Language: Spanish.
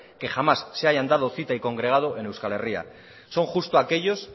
que jamás se hayan dado cita y congregado en euskal herria son justo aquellos